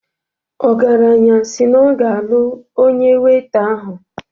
Ogaranya si na ọ ga-alụ onye weita ahụ